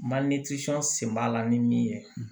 sen b'a la ni min ye